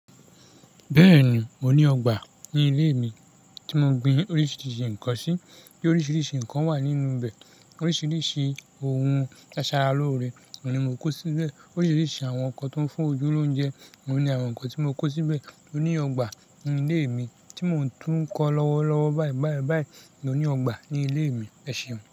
Bẹ́ẹ̀ni, mo ní ọgbà ní ilé mi tí mo gbin oríṣiríṣi nǹkan sí. Bí oríṣiríṣi nǹkan wà nínú bẹ̀. Oríṣiríṣi ohun tí a ṣara lóore ohun ni mò kó síbẹ̀. Oríṣiríṣi àwọn nǹkan tó ń fún ojú lóúnjẹ ohun ni àwọn nǹkan tí mo kó síbẹ̀. Mo ní ọgbà ní ilé mi tí mò ń tún kọ́ lọ́wọ́lọ́wọ́, báyìíbáyìí báyìí. Mo ní ọgbà ní ilé mi, ẹ̀ṣeun.